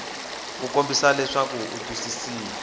ku kombisa leswaku u twisisa